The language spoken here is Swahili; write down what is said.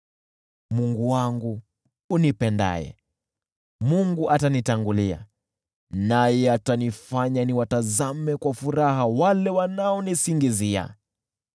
Mungu wangu unipendaye. Mungu atanitangulia, naye atanifanya niwachekelee wale wanaonisingizia.